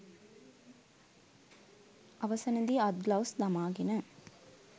අවසන දී අත් ග්ලව්ස් දමාගෙන